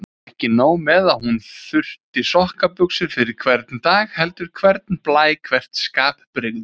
Ekki nóg með að hún þurfi sokkabuxur fyrir hvern dag heldur hvern blæ, hvert skapbrigði.